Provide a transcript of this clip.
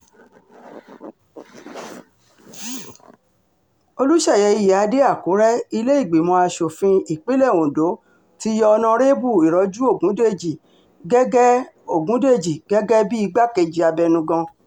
olùṣeyẹ ìyíáde àkùrẹ ilẹ̀-ìgbìmọ̀ asòfin ìpínlẹ̀ ondo ti yọ ọ̀nọ́rẹ́bù ìrọ́jú ọ̀gúndéjì gẹ́gẹ́ ọ̀gúndéjì gẹ́gẹ́ bíi igbákejì abẹnugan